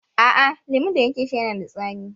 A'a, lemun da nake sha yana da tsami.